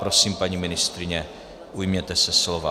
Prosím, paní ministryně, ujměte se slova.